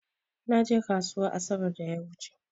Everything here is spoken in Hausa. Na je ƙasuwa asabar da ya wuche.